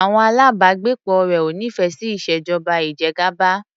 Àwọn alábàágbépọ̀ rẹ̀ ò nífẹẹ sí ìṣèjọba ìjẹgàba.